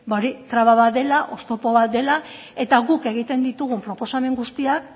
hori traba bat dela oztopo bat dela eta guk egiten ditugun proposamen guztiak